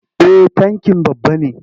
Eh tankin babba ne.